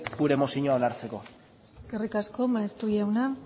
gure mozioa onartzeko eskerrik asko maeztu jauna